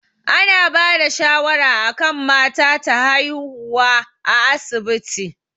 Ana bada shawara akan mata ta haihuwa a asibiti